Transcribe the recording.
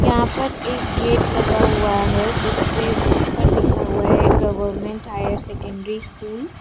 यहां पर एक गेट लगा हुआ है जिस पे ऊपर लिखा हुआ है गवर्नमेंट हायर सेकेंडरी स्कूल --